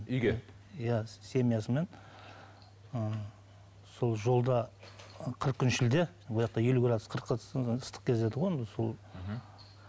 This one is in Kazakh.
үйге иә семьясымен ы сол жолда қырық күн шілде елу градус қырық градус ыстық кез еді ғой онда сол